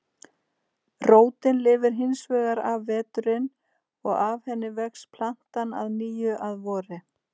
Rótin lifir hins vegar af veturinn og af henni vex plantan að nýju að vori.